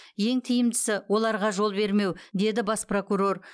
ең тиімдісі оларға жол бермеу деді бас прокурор